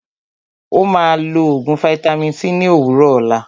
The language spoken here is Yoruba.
Ó máà lọ oògùn vaitami c ní òwúrọ̀ òlá.